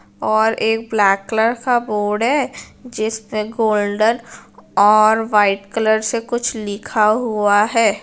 और एक black colour का बोर्ड है जिस पे गोल्डन और व्हाईट कलर से कुछ लिखा हुआ है।